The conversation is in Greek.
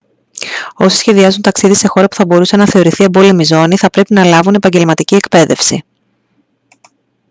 όσοι σχεδιάζουν ταξίδι σε χώρα που θα μπορούσε να θεωρηθεί εμπόλεμη ζώνη θα πρέπει να λάβουν επαγγελματική εκπαίδευση